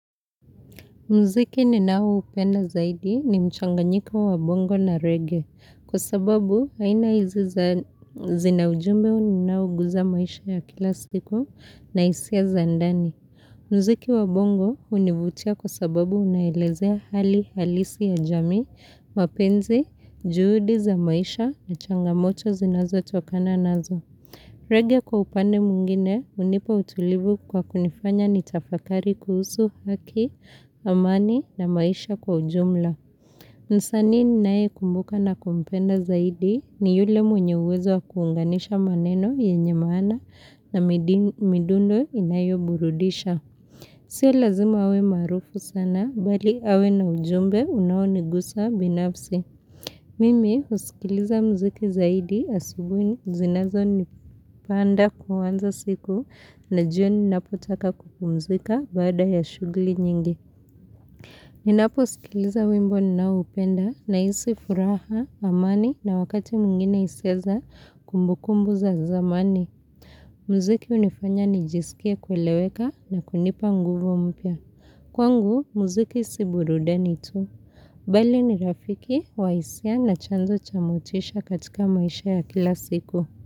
Mziki ninaoupenda zaidi ni mchanganyiko wa bongo na reggea. Kwa sababu, haina izi zinaujumbe uninau guza maisha ya kila siku na isi ya zandani. Mziki wa bongo univutia kwa sababu unaelezea hali halisi ya jami, mapenzi, juhudi za maisha na changamoto zinazo tukana nazo. Regia kwa upane mungine, unipa utulibu kwa kunifanya ni tafakari kuhusu haki, amani na maisha kwa ujumla. Nsani ni nae kumbuka na kumpenda zaidi ni yule mwenye uwezo wa kuunganisha maneno ya nyemana na midundo inayo burudisha. Sia lazima we marufu sana, bali awe na ujumbe unawo nigusa binapsi. Mimi usikiliza mziki zaidi asibu zinazo nipanda kuwanza siku na jioni napotaka kukumzika bada ya shugli nyingi. Minapo usikiliza wimbo ninaupenda na isi furaha, amani na wakati mungine iseza kumbukumbu za zamani. Mziki unifanya nijisikia kweleweka na kunipa nguvu mpia. Kwangu, muziki si burudani tu. Bale ni rafiki, waisia na chanzo chamotisha katika maisha ya kila siku.